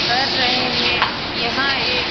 कर रहे है यहाँ एक --